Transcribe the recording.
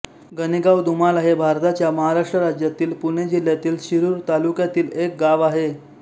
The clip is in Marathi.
गणेगांव दुमाला हे भारताच्या महाराष्ट्र राज्यातील पुणे जिल्ह्यातील शिरूर तालुक्यातील एक गाव आहे